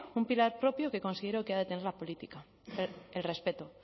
un pilar propio que considero que ha de tener la política el respeto